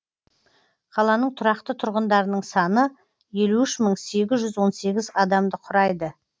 қаланың тұрақты тұрғындарының саны елу үш мың сегіз жүз он сегіз адамды құрайды